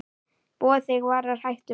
Boð þig varar hættum við.